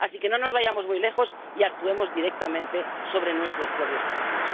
Así que no nos vayamos muy lejos y actuemos directamente sobre nuestros propios países.